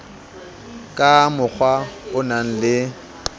ka mokgwa o nang le